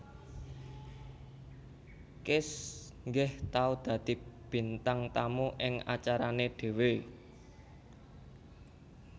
Kiss nggih tau dadi bintang tamu ing acarane dewe